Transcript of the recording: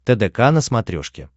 тдк на смотрешке